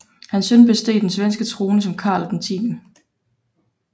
Hans søn besteg den svenske trone som Karl 10